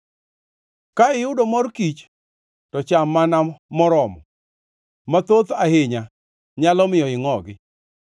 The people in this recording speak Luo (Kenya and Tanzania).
Ka iyudo mor kich, to cham mana moromo, mathoth ahinya, nyalo miyo ingʼogi.